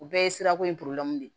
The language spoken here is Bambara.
U bɛɛ ye sirako in de